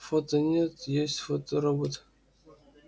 фото нет есть фоторобот